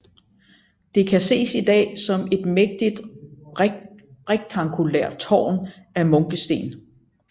Det kan ses i dag som et mægtigt rektangulært tårn af munkesten